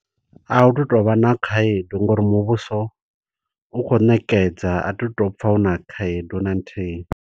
A hu tu tovha na khaedu, ngo uri muvhuso u khou ṋekedza. A tu to pfa hu na khaedu na nthihi.